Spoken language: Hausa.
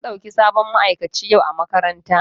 An ɗauki sabon ma'aikaci yau a makarantata.